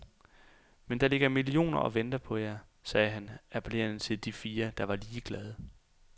Men der ligger millioner og venter på jer, sagde han appellerende til de fire, der var ligeglade.